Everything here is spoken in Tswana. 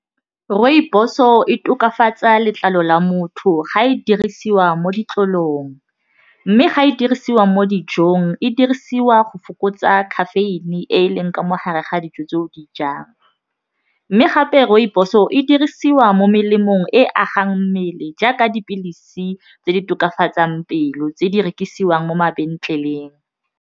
Rooibos-o e tokafatsa letlalo la motho ga e dirisiwa mo ditlolong, mme ga e dirisiwa mo dijong e dirisiwa go fokotsa caffeine e e leng ka mo gare ga dijo tse o di jang mme gape rooibos-o e dirisiwa mo melemong e agang mmele jaaka dipilisi tse di tokafatsang pelo tse di rekisiwang mo mabenkeleng.